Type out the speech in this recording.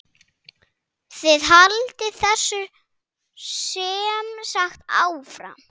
Þið haldið þessu semsagt áfram?